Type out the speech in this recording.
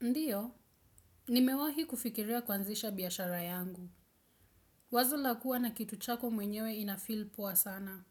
Ndiyo, nimewahi kufikiria kwanzisha biyashara yangu. Wazo lakua na kitu chako mwenyewe inafil poa sana.